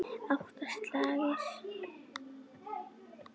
Átta slagir.